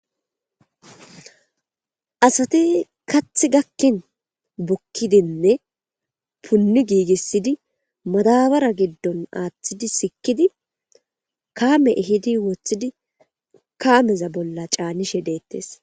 asati kath gakkin bukkidinne punni giigissidi madabara giddon aaththidi sikidi kaame ehidi woththidi kaameza bolla caanishe deettes